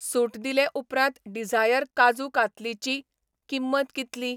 सूट दिले उपरांत डिझायर काजू कातलीची किंमत कितली?